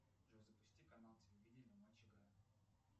джой запусти канал телевидения матч игра